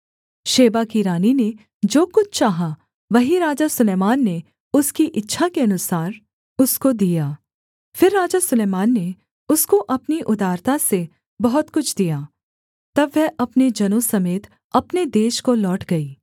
Sheba की रानी ने जो कुछ चाहा वही राजा सुलैमान ने उसकी इच्छा के अनुसार उसको दिया फिर राजा सुलैमान ने उसको अपनी उदारता से बहुत कुछ दिया तब वह अपने जनों समेत अपने देश को लौट गई